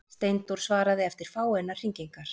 Steindór svaraði eftir fáeinar hringingar.